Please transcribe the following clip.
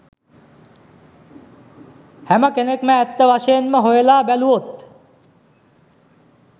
හැම කෙනෙක්ම ඇත්ත වශයෙන්ම හොයලා බැලුවොත්